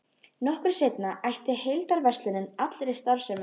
Nokkru seinna hætti heildverslunin allri starfsemi.